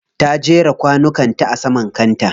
Ta jera kwanukan ta a saman kanta.